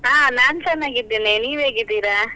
ಅಹ್ ನಾನ್ ಚೆನ್ನಾಗಿದ್ದೇನೆ, ನೀವ್ ಹೇಗಿದ್ದೀರಾ?